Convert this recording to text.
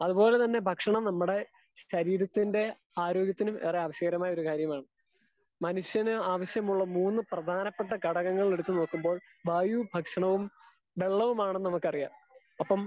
Speaker 2 അത് പോലെ തന്നെ ഭക്ഷണം നമ്മടെശരീരത്തിന്റെ ആരോഗ്യത്തിന് ഏറെ ആവിശ്യകരമായ ഒരു കാര്യമാണ്. മനുഷ്യന് ആവിശ്യമായ മൂന്ന് പ്രധാനപ്പെട്ട ഘടകം എടുത്ത് നോക്കുമ്പോൾ വായുവും ഭക്ഷണവും വെള്ളവും മാണെന്ന് നമുക്ക് അറിയാം. അപ്പം